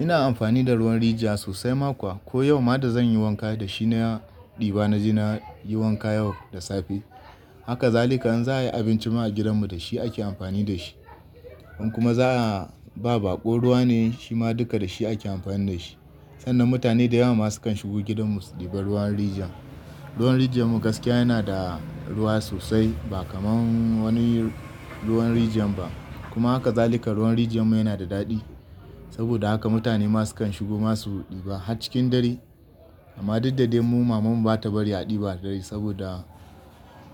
Ina amfani da ruwan rijiya sosai mako. Ko yau ma da zan yi wanka da shi na ɗiba na je na yi wanka yau da safe. Haka zalika in za a yi abinci ma a gidanmu da shi ake amfani da shi. In kuma za a ba baƙo, ruwa ne shi ma duka da shi ake amfani da shi. Sannan mutane da yawa ma sukan shigo gidanmu su ɗiba ruwan rijiya. Ruwan rijiya mu gaskiya yana da ruwa sosai ba kamar wani ruwan rijiya ba. Kuma haka zalika ruwan rijiya mu yana da daɗi. Saboda haka mutane ma sukan shigo ma su ɗiba har cikin dare. Amma duk dadde mu mamanmu ba ta bari a ɗiba dare saboda